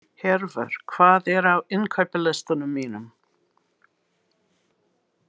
Hervar, hvað er á innkaupalistanum mínum?